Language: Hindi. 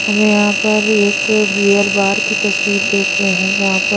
हमें यहां पर एक बीयर बार की तस्वीर देख रहे हैं जहां पर--